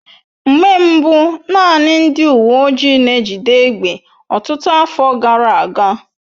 Mgbe mbu naanị ndị uwe ojii n'ejide egbe ọtụtụ afọ gara aga.